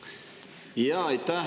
Aitäh, härra eesistuja!